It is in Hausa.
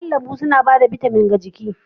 Kayan lambu suna ba da bitamin ga jiki